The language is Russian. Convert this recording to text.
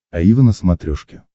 аива на смотрешке